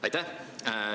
Aitäh!